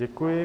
Děkuji.